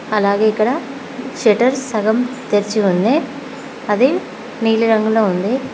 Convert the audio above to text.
అలాగే ఇక్కడ షట్టర్ సగం తెరిచి ఉంది అది నీలిరంగులో ఉంది.